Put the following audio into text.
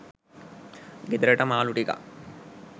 ගෙදරට මාළු ටිකක්